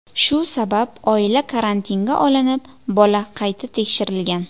Shu sabab oila karantinga olinib, bola qayta tekshirilgan.